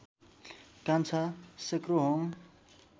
Kancha Sekrohong